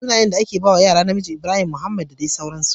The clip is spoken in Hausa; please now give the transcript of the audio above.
Sunayen da ake bawa yaro namiji Ibrahim, Mohamed da dai sauransu